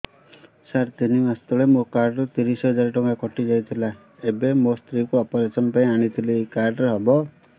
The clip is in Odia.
ସାର ତିନି ମାସ ତଳେ ମୋ କାର୍ଡ ରୁ ତିରିଶ ହଜାର ଟଙ୍କା କଟିଯାଇଥିଲା ଏବେ ମୋ ସ୍ତ୍ରୀ କୁ ଅପେରସନ ପାଇଁ ଆଣିଥିଲି ଏଇ କାର୍ଡ ରେ ହବ